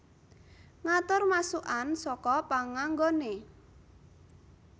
Ngatur masukkan saka panganggoné